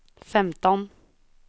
femton